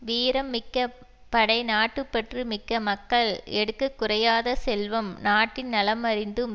வீரம் மிக்க படை நாட்டு பற்று மிக்க மக்கள் எடுக்க குறையாத செல்வம் நாட்டின் நலம் அறிந்தும்